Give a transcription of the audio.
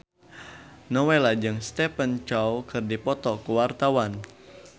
Nowela jeung Stephen Chow keur dipoto ku wartawan